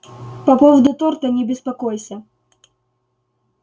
по поводу торта не беспокойся